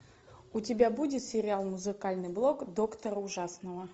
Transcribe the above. у тебя будет сериал музыкальный блок доктора ужасного